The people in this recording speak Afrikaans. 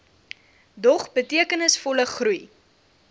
dog betekenisvolle groei